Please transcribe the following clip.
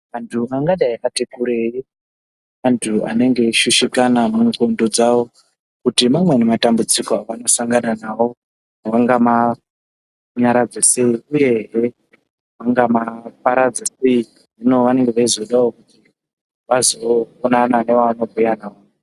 Antu akadai ati kurei antu anoshushikana mundxondo dzavo kuti mamweni matambudziko avanosangana nawo vangamanyaradza aei uyehe vangamaparadza sei. Hino vanenge veizodawo vazoonana nevevano bhuya navo.